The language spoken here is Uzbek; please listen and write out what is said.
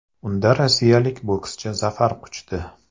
Unda rossiyalik bokschi zafar quchdi.